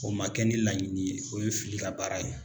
O ma kɛ ni laɲini ye o ye fili ka baara ye